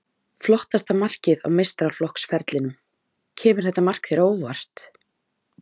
Flottasta markið á meistaraflokksferlinum Kemur þetta mark þér á óvart?